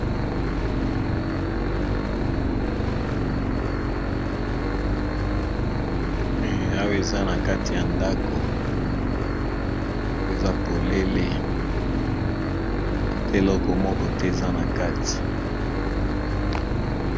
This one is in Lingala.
Awa eza na kati ya ndako oyo eza polele ata eloko moko te eza na kati.